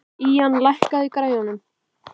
Ían, lækkaðu í græjunum.